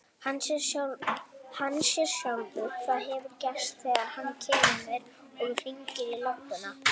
Hann sér sjálfur hvað hefur gerst þegar hann kemur. og hringir á lögguna.